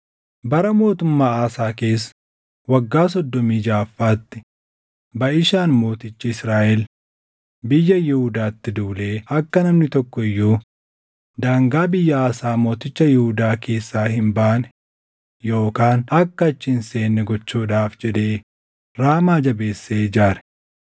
Bara mootummaa Aasaa keessa waggaa soddomii jaʼaffaatti Baʼishaan mootichi Israaʼel biyya Yihuudaatti duulee akka namni tokko iyyuu daangaa biyya Aasaa mooticha Yihuudaa keessaa hin baane yookaan akka achi hin seenne gochuudhaaf jedhee Raamaa jabeessee ijaare.